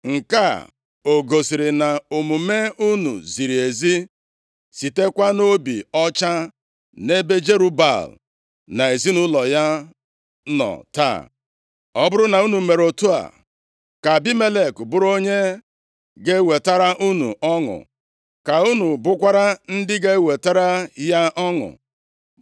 Nke a o gosiri na omume unu ziri ezi, sitekwa nʼobi ọcha nʼebe Jerub-Baal na ezinaụlọ ya nọ taa? Ọ bụrụ na unu mere otu a, ka Abimelek bụrụ onye ga-ewetara unu ọṅụ ka unu bụkwara ndị ga-ewetara ya ọṅụ.